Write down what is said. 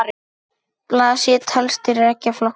Blásýra telst til beggja flokka.